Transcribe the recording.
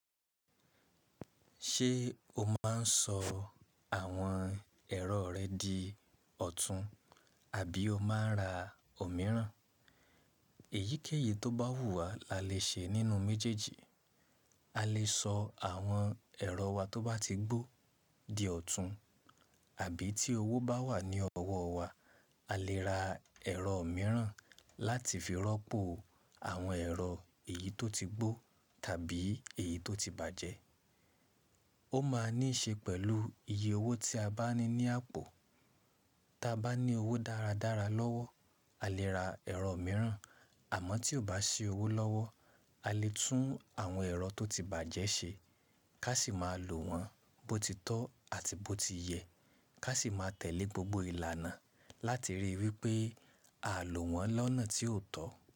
Ṣé o máa ń sọ àwọn ẹ̀rọ rẹ di ọ̀tún àbí o máa ń ra òmíràn? Èyíkéyìí tó bá wù wà la lè ṣe nínú méjèèjì. A lè sọ àwọn ẹ̀rọ wa tó bá ti gbó di ọ̀tún àbí tí owó bá wà ní ọwọ́ wa, a lè ra ẹ̀rọ mìíràn láti fi rọ́pò àwọn ẹ̀rọ èyí tó ti gbó tàbí èyí tó ti bàjẹ́. Ó máa níí ṣe pẹ̀lú iye owó tí a bá ní ní àpò. Tí a bá ní owó dáradára lọ́wọ́, a lè ra ẹ̀rọ mìíràn àmọ́ tí ò bá sí owó lọ́wọ́, a lè tún àwọn ẹ̀rọ tó ti bàjẹ́ ṣe ká sì máa lò wọ́n bó ti tọ́ àti bó ti yẹ ká sì máa tẹ̀lé gbogbo ìlànà láti ríi wí pé a ò lò wọ́n lọ́nà tí ò tọ́.